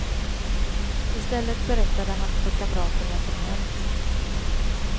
I stället berättade han för kamraten vad som hänt.